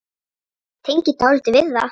Ég tengi dálítið við það.